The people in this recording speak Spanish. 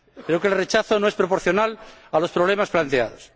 Pero el rechazo no es proporcional a los problemas planteados.